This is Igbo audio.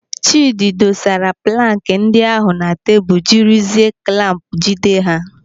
Chidi dosara plankị ndị ahụ na tebụl jiri zie klamp jide ha.